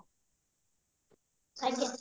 ଆଜ୍ଞା